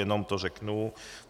Jenom to řeknu.